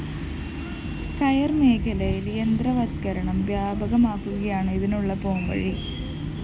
കയര്‍ മേഖലയില്‍ യന്ത്രവത്കരണം വ്യാപകമാക്കുകയാണ് ഇതിനുള്ള പോംവഴി